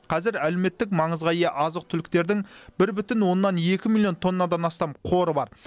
қазір әлеуметтік маңызға ие азық түліктердің бір бүтін оннан екі миллион тоннадан астам қоры бар